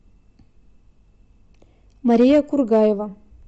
мария кургаева